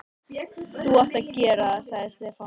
Þú átt að gera það, sagði Stefán.